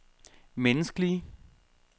menneskelige